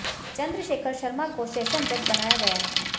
चंद्रशेखर शर्मा को सेशन जज बनाया गया है